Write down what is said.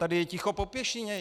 Tady je ticho po pěšině.